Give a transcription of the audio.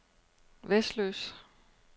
Vesløs